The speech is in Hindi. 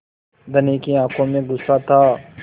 धनी की आँखों में गुस्सा था